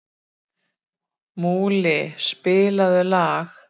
Múli, spilaðu lag.